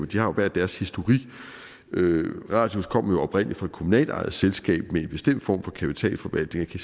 de har jo hver deres historik radius kom oprindelig fra et kommunalt ejet selskab med en bestemt form for kapitalforvaltning